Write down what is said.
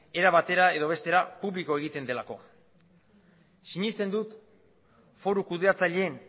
era batera edo bestera publiko egiten delako sinesten dut foru kudeatzaileen